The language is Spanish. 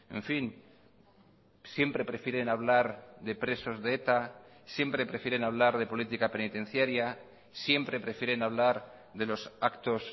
en fin siempre prefieren hablar de presos de eta siempre prefieren hablar de política penitenciaria siempre prefieren hablar de los actos